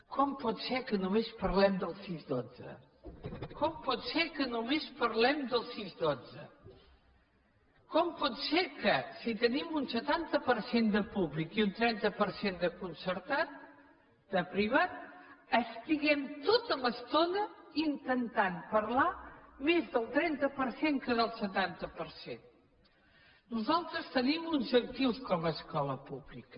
com pot ser que només parlem dels sis dotze com pot ser que només parlem dels sis dotze com pot ser que si tenim un setanta per cent de públic i un trenta per cent de concertat de privat estiguem tota l’estona intentant parlar més del trenta per cent que del setanta per cent nosaltres tenim uns actius com a escola pública